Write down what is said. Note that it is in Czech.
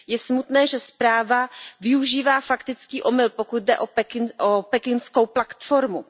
Je smutné, že zpráva využívá faktický omyl, pokud jde o pekingskou platformu.